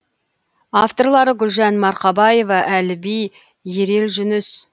авторлары гүлжан марқабаева әліби ерел жүніс